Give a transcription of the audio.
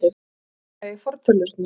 Hann fór varlega í fortölurnar.